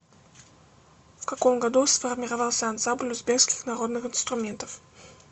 в каком году сформировался ансамбль узбекских народных инструментов